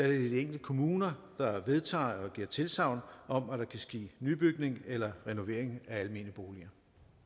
de enkelte kommuner der vedtager og giver tilsagn om at der kan ske nybygning eller renovering af almene boliger